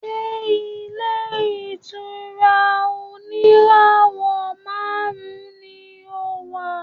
Ṣé ilé-ìtura oníràwọ̀ márùn-ún ni o wà?